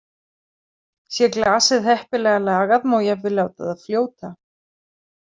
Sé glasið heppilega lagað má jafnvel láta það fljóta.